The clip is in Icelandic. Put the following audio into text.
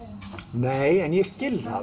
nei en ég skil